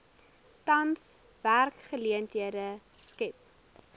tans werksgeleenthede skep